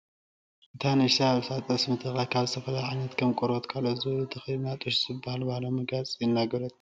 እታ ንእሽቲ ኣብ ርእሳ ጠስሚ ተለኽያ ካብ ዝተፈላለዩ ዓይነት ከም ቆርበትን ካልኦትን ዝበሉ ተከዲና ጡሽ ዝበሃል ባህላዊ መጋየፂ እናገበረት ትርከብ፡፡